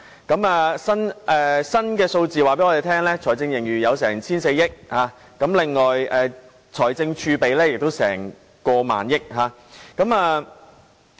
根據最新數字，我們的財政盈餘達 1,400 億元，而財政儲備亦有過萬億元。